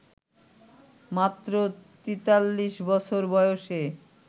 মাত্র ৪৩ বছর বয়সে